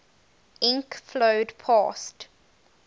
ink flowed past